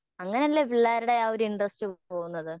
അങ്ങനല്ലെ പിള്ളേരുടെ ആ ഒരു ഇന്ട്രെസ്റ്റ് പോകുന്നത്